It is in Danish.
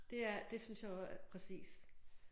Det er det synes jeg og præcis